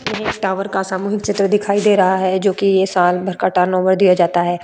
हमे एक टावर का सामूहिक चित्र दिखाई दे रहा है जोकि ये साल भर का टर्नओवर दिया जाता है।